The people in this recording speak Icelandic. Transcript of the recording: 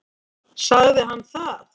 Sagði hann það?